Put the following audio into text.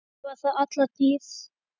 Svo var það alla tíð.